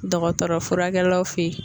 Dɔgɔtɔrɔ furakɛlaw fe ye